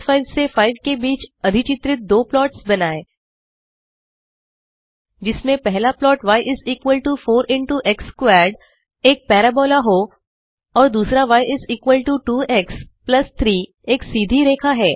5 से 5 के बीच अधिचित्रित दो प्लॉट्स बनाएँ जिसमें पहला plot y is equal to 4इंटो एक्स स्क्वेयर्ड एक पाराबोला हो और दूसरा य इस इक्वाल्टो 2एक्स प्लस 3 एक सीधी रेखा है